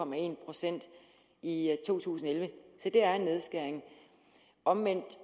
procent i to tusind og elleve så det er en nedskæring omvendt